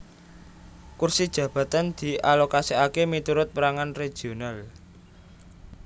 Kursi jabatan dialokasèkaké miturut pèrangan regional